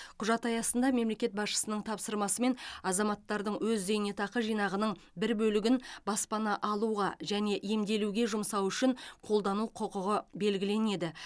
құжат аясында мемлекет басшысының тапсырмасымен азаматтардың өз зейнетақы жинағының бір бөлігін баспана алуға және емделуге жұмсауы үшін қолдану құқығы белгіленеді